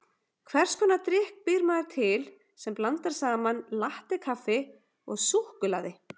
Hvers konar drykk býr maður til sem blandar saman latté-kaffi og súkkulaði?